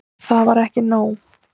Það var ekki nóg.